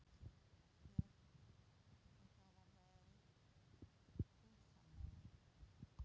Björn: Þeir hafa verið friðsamlegir?